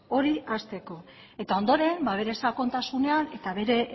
hori hasteko eta ondoren bere sakontasunean eta bere